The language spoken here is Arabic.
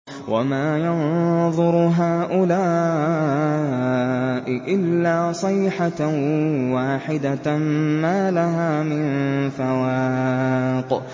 وَمَا يَنظُرُ هَٰؤُلَاءِ إِلَّا صَيْحَةً وَاحِدَةً مَّا لَهَا مِن فَوَاقٍ